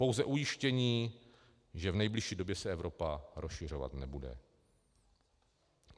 Pouze ujištění, že v nejbližší době se Evropa rozšiřovat nebude.